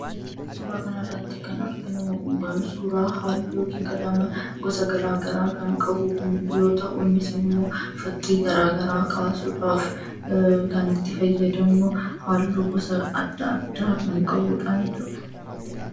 Suura kana irratti kan arginu suura haalluu yookaan qalama gara garaa kan qabu yoo ta'u, innis ammoo fakkii gara garaa kaasudhaaf kan itti fayyadamnu, haalluu gosa gara garaa kan qabudha jechuudha.